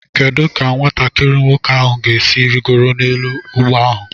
Kedu ka nwatakiri nwoke ahụ ga-esi rịgoro n'elu ọgba ahụ?